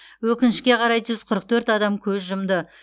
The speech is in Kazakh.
өкінішке қарай жүз қырық төрт адам көз жұмды